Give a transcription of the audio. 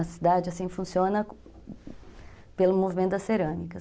A cidade funciona pelo movimento das cerâmicas.